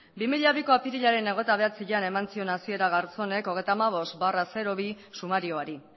bi mila biko apirilaren hogeita bederatzian eman zion hasiera garzonek hogeita hamabost barra bi sumarioari